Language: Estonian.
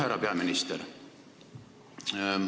Härra välisminister!